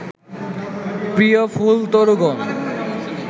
প্রিয় ফুলতরুগণ